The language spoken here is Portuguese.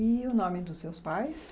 E o nome dos seus pais?